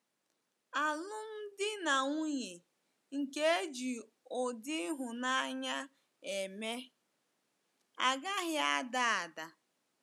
Alụmdi na nwunye nke e ji ụdị ịhụnanya eme, agaghị ada ada.